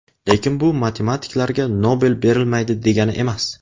Lekin bu matematiklarga Nobel berilmaydi degani emas.